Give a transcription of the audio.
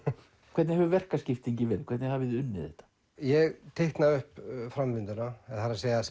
hvernig hefur verkaskiptingin verið hvernig hafið þið unnið þetta ég teikna upp framvinduna það er að